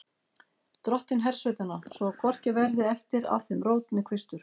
Dottinn hersveitanna, svo að hvorki verði eftir af þeim rót né kvistur.